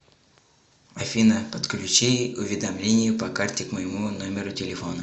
афина подключи уведомление по карте к моему номеру телефона